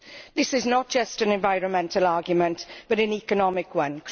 This is not just an environmental argument but an economic one.